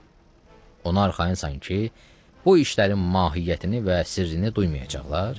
Ona arxayınsan ki, bu işlərin mahiyyətini və sirrini duymayacaqlar?